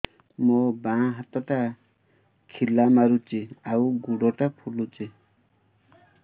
ମୋ ବାଆଁ ହାତଟା ଖିଲା ମାରୁଚି ଆଉ ଗୁଡ଼ ଟା ଫୁଲୁଚି